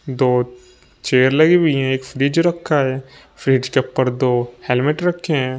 दो चेयर लगी हुई हैं एक फ्रिज रखा है फ्रिज के ऊपर दो हेलमेट रखे हैं।